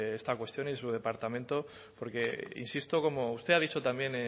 esta cuestión en su departamento porque insisto como usted ha dicho también